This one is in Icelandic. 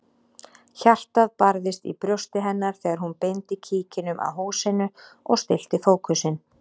Hjartað barðist í brjósti hennar þegar hún beindi kíkinum að húsinu og stillti fókusinn.